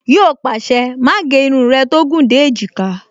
Yíò pàṣẹ, "Má gé irun rẹ tó gùn dé èjìká"